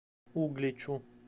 угличу